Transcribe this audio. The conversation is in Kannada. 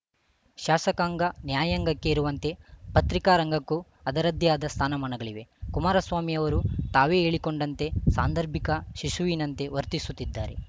ಶಾಸಕಾಂಗ ನ್ಯಾಯಾಂಗಕ್ಕೆ ಇರುವಂತೆ ಪತ್ರಿಕಾ ರಂಗಕ್ಕೂ ಅದರದ್ದೇ ಆದ ಸ್ಥಾನಮಾನಗಳಿವೆ ಕುಮಾರಸ್ವಾಮಿ ಅವರು ತಾವೇ ಹೇಳಿಕೊಂಡಂತೆ ಸಾಂದರ್ಭಿಕ ಶಿಶುವಿನಂತೆ ವರ್ತಿಸುತ್ತಿದ್ದಾರೆ